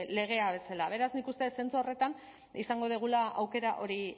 legea bezala beraz nik uste dut zentzu horretan izango dugula aukera hori